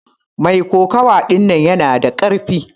Mai kokawa ɗinnan yana da karfi.